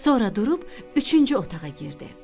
Sonra durub üçüncü otağa girdi.